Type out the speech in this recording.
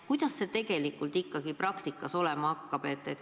Kuidas see abi tegelikult ikkagi praktikas olema hakkab?